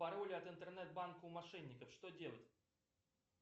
пароль от интернет банка у мошенников что делать